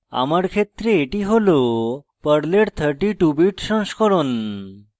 আমার ক্ষেত্রে এটি হল পর্লের 32 bit সংস্করণ